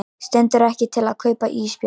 Stendur ekki til að kaupa ísbjörn